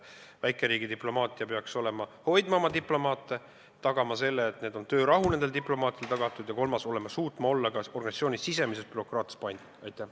Väikeriik peaks hoidma oma diplomaate, peaks tagama selle, et töörahu on diplomaatidele tagatud, ja kolmandaks peaks ta suutma ka organisatsiooni sees tagada bürokraatia mõttes paindlikkuse.